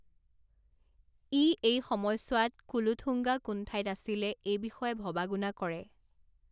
ই এই সময়ছোৱাত কুলোথুঙ্গা কোন ঠাইত আছিলে এই বিষয়ে ভবা গুণা কৰে।